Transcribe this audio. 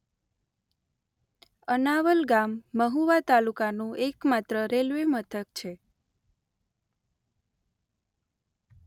અનાવલ ગામ મહુવા તાલુકાનું એકમાત્ર રેલ્વે મથક છે.